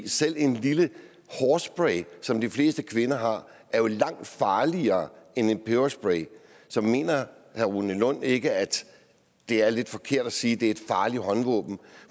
selv en lille hårspray som de fleste kvinder har er jo langt farligere end en peberspray så mener herre rune lund ikke at det er lidt forkert at sige at det er et farligt håndvåben